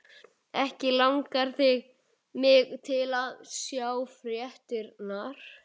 Ekki langar mig til að sjá fréttirnar.